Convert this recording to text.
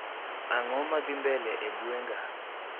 Ang'o madhii mbele e gweng'a